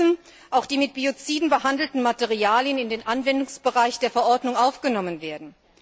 Deshalb müssen auch die mit Bioziden behandelten Materialien in den Anwendungsbereich der Verordnung aufgenommen werden.